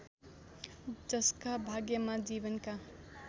जसका भाग्यमा जीवनका